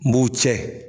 N b'u cɛ